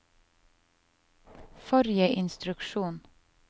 forrige instruksjon